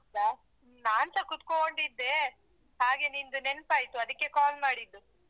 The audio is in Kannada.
ಹೌದ ನಾನ್ಸ ಕೂತ್ಕೊಂಡಿದ್ದೆ ಹಾಗೆ ನಿಂದು ನೆನ್ಪಾಯ್ತು ಅದಿಕ್ಕೆ call ಮಾಡಿದ್ದು.